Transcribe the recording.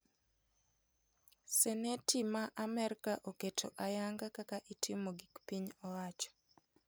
Seneti me amerka oketo ayanga kaka itimo gik piny oacho.